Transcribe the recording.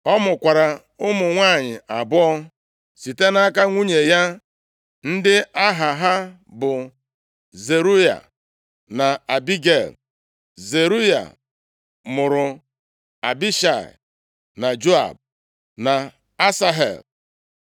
Ọ mụkwara ụmụ nwanyị abụọ site nʼaka nwunye ya, ndị aha ha bụ Zeruaya na Abigel. Zeruaya mụrụ Abishai, na Joab, na Asahel.